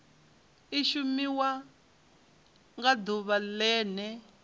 i shumiwa nga ḓuvha ḽene